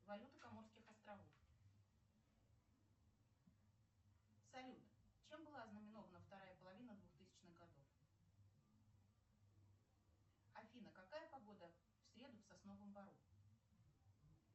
валюта коморских островов салют чем была ознаменована вторая половина двухтысячных годов афина какая погода в среду в сосновом бору